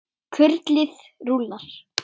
Kurlið rúllar.